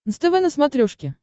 нств на смотрешке